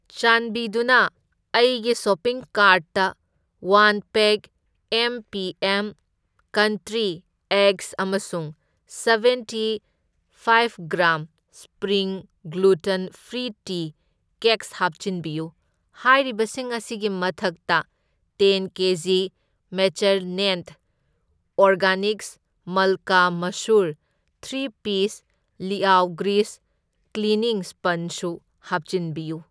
ꯆꯥꯟꯕꯤꯗꯨꯅ ꯑꯩꯒꯤ ꯁꯣꯄꯤꯡ ꯀꯥꯔꯠꯇ one pack M P M country eggs ꯑꯃꯁꯨꯡ seventy five gram spring gluten free tea cakes ꯍꯥꯞꯆꯤꯟꯕꯤꯌꯨ꯫ ꯍꯥꯏꯔꯤꯕꯁꯤꯡ ꯑꯁꯤꯒꯤ ꯃꯊꯛꯇ ꯇꯦꯟ ꯀꯦꯖꯤ ꯃꯦꯆꯔꯅꯦꯟꯗ ꯑꯣꯔꯒꯥꯅꯤꯛꯁ ꯃꯜꯀꯥ ꯃꯁꯨꯔ, ꯊ꯭ꯔꯤ ꯄꯤꯁ ꯂꯤꯑꯥꯎ ꯒ꯭ꯔꯤꯁ ꯀ꯭ꯂꯤꯅꯤꯡ ꯁ꯭ꯄꯟꯖꯁꯨ ꯍꯥꯞꯆꯤꯟꯕꯤꯌꯨ꯫